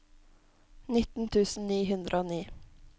nitten tusen ni hundre og ni